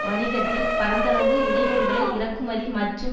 வணிகத்தில் பரந்தளவு இடையூறுகளை இறக்குமதி மற்றும்